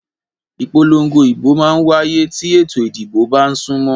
Ìpòlongo ìbò mà n wáyé tí ètò ìdìbò bá n súnmọ́